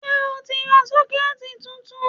Ṣé o ti ra 'Sókẹ́ẹ̀tì ' titun